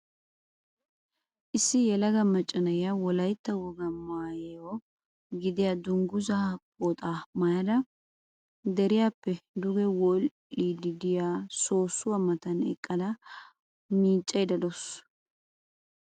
Issi yelaga macca na'iya wolaytta wogaa maayo gidida dunguzaa pooxaa maayada deriyaappe duge wodhdhiiddi diya soossuwa matan eqqada miiccayidda de'awusu.